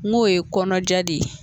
N k'o ye kɔnɔja de ye